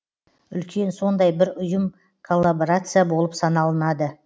үлкен сондай бір ұйым коллаборация болып саналынады